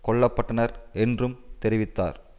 கொல்ல பட்டனர் என்றும் தெரிவித்தார்